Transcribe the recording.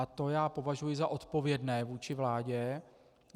A to já považuji za odpovědné vůči vládě.